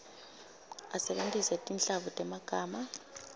usebentise tinhlavu temagama